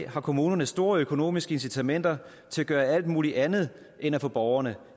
har kommunerne store økonomiske incitamenter til at gøre alt muligt andet end at få borgerne